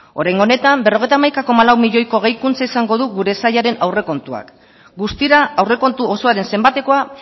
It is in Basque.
oraingo honetan berrogeita hamaika koma lau milioiko gehikuntza izango du gure sailaren aurrekontuak guztira aurrekontu osoaren zenbatekoa